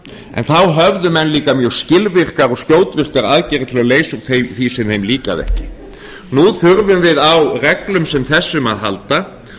en þá höfðu menn líka mjög skilvirkar og skjótvirkar aðferðir til að leysa úr því sem þeim líkar ekki nú þurfum við á reglum sem þessum að halda